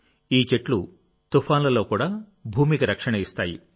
ఈ చెట్లు తుఫాన్లలో కూడా భూమికి రక్షణ ఇస్తాయి